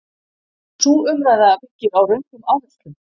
Sú umræða byggir á röngum áherslum.